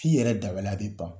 F'i yɛrɛ dabaliya bɛ ban.